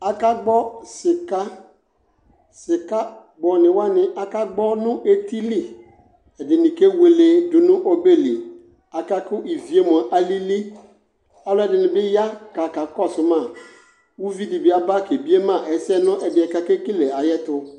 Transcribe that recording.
aka gbo sika sika gbo ni wani aka gbo nʋ ɛtili ɛdini kɛ wɛlɛ dʋnʋ ɔbɛ li aka ku iviɛ alili alɛdini bi yaa ka kɔsʋ ma ʋvi di bi aba kɛ biɛ ma ɛsɛ nʋ ɛdiɛ kʋ akɛkɛlɛ ɛtʋ